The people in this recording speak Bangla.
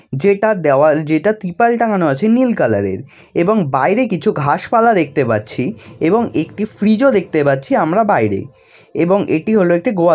যেটা দেওয়াল যেটা ত্রিপালটা টাঙ্গানো আছে নীল কালার -এর। এবং বাইরে কিছু ঘাসপালা দেখতে পাচ্ছি। এবং একটি ফ্রিজ -ও দেখতে পাচ্ছি আমরা বাইরে এবং এটি হলো একটি গোয়াল--